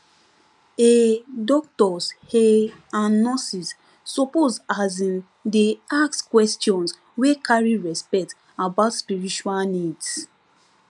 um doctors um and nurses suppose um dey ask questions wey carry respect about spiritual needs